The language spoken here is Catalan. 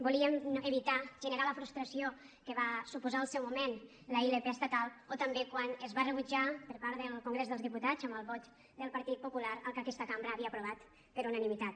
volíem evitar generar la frustració que va suposar al seu moment la ilp estatal o també quan es va rebutjar per part del congrés dels diputats amb el vot del partit popular el que aquesta cambra havia aprovat per unanimitat